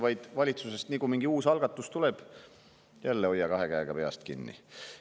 Nii nagu valitsusest mingi uus algatus tuleb, hoia jälle kahe käega peast kinni.